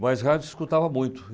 Mas rádio eu escutava muito.